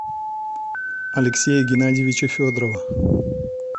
алексея геннадьевича федорова